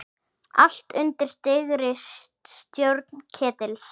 Allt undir dyggri stjórn Ketils.